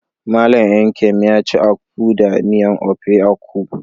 Mallam Nkem yaci akpu da miyan ofe akwu.